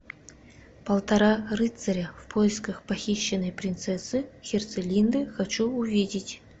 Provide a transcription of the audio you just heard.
полтора рыцаря в поисках похищенной принцессы херцелинды хочу увидеть